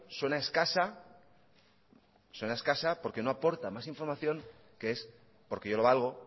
suena escasa porque no aporta más información que es porque yo lo valgo